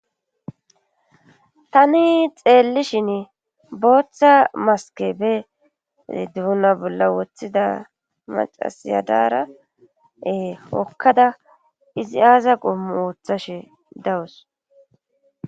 tani xeellishin booththa maske be duuna bolla wothida macasiya dara hokkada izi aaza qommu ooththashe dawus